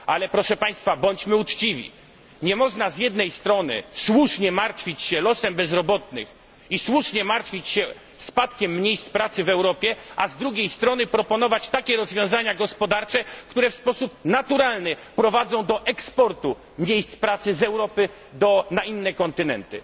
Ale bądźmy uczciwi! Nie można z jednej strony słusznie martwić się losem bezrobotnych i spadkiem miejsc pracy w Europie, a z drugiej strony proponować takie rozwiązania gospodarcze, które w sposób naturalny prowadzą do eksportu miejsc pracy z Europy na inne kontynenty.